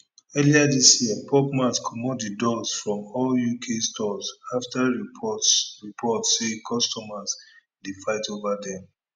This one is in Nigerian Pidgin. earlier dis yearpop mart comot di dolls from all uk storesafter reports reports say customers dey fight over dem